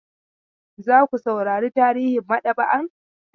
Za ku saurari tarihin maɗaba'an?